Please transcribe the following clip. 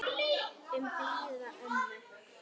Um blíða ömmu.